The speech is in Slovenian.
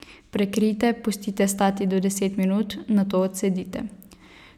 Prekrijte, pustite stati do deset minut, nato odcedite.